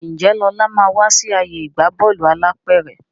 Njé Lọla má wá sí ààyè ìgbà Bọ́ọ̀lù alápẹ̀rẹ̀